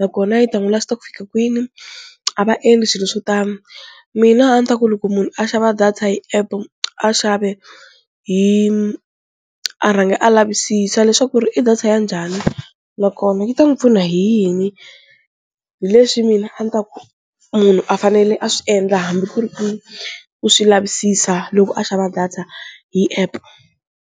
nakona yi ta n'wi last-a ku fika kwini a va endli swilo swo tani, mina a ni ta ku loko munhu a xava data hi app, a xave hi a rhanga a lavisisa leswaku ri i data ya njhani nakona yi ta n'wi pfuna hi yini, hi leswi mina a ni ta ku munhu a fanele a swi endla hambi ku ri ku u swi lavisisa loko a xava data hi app.